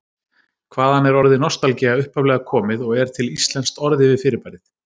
Hvaðan er orðið nostalgía upphaflega komið og er til íslenskt orð yfir fyrirbærið?